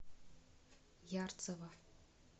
ярцево